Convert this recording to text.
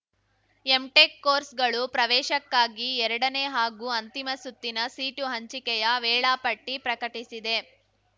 MTech ಕೋರ್ಸ್‌ಗಳು ಪ್ರವೇಶಕ್ಕಾಗಿ ಎರಡನೇ ಹಾಗೂ ಅಂತಿಮ ಸುತ್ತಿನ ಸೀಟು ಹಂಚಿಕೆಯ ವೇಳಾಪಟ್ಟಿಪ್ರಕಟಿಸಿದೆ